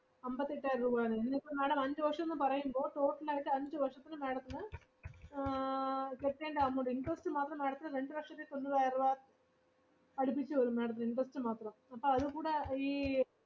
അമ്പത്തി എട്ടായിരം രൂപ ആണ്, ഇന്ന് ഇപ്പോ madam അഞ്ചു വർഷംന്ന് പറയുമ്പോൾ total ആയിട്ട് അഞ്ചു വർഷത്തിന് madam ത്തിന് ആഹ് കെട്ടേണ്ട amount, interest മാത്രം madam ത്തിന് രണ്ട് ലക്ഷത്തിതൊണ്ണൂറായിരം രൂപ അടുപ്പിച്ചു വരും madam ത്തിന് interest മാത്രം, അപ്പോ അതും കൂട ഈ